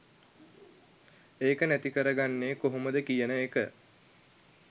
ඒක නැතිකරගන්නේ කොහොමද කියන එක